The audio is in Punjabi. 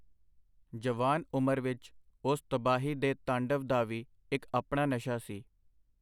ਜਵਾਨ ਉਮਰ ਵਿਚ ਓਸ ਤਬਾਹੀ ਦੇ ਤਾਂਡਵ ਦਾ ਵੀ ਇਕ ਆਪਣਾ ਨਸ਼ਾ ਸੀ.